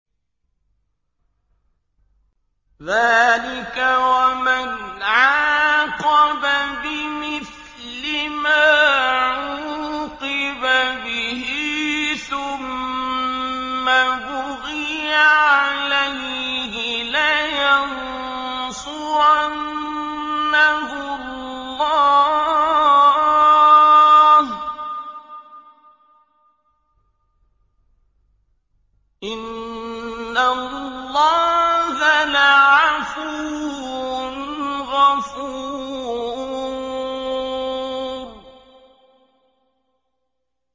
۞ ذَٰلِكَ وَمَنْ عَاقَبَ بِمِثْلِ مَا عُوقِبَ بِهِ ثُمَّ بُغِيَ عَلَيْهِ لَيَنصُرَنَّهُ اللَّهُ ۗ إِنَّ اللَّهَ لَعَفُوٌّ غَفُورٌ